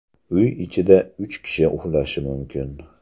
Uy ichida uch kishi uxlashi mumkin.